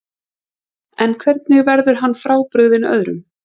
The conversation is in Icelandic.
En hvernig verður hann frábrugðinn öðrum?